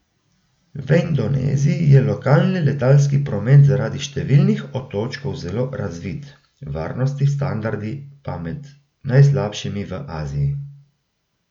V Indoneziji je lokalni letalski promet zaradi številnih otočkov zelo razvit, varnostni standardi pa med najslabšimi v Aziji.